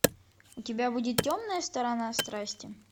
у тебя будет темная сторона страсти